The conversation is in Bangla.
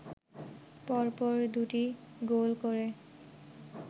পরপর দু’টি গোল করে